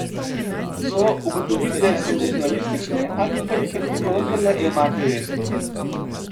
So ugotovitve senzacionalistične ali pa jih je treba vendarle jemati resno?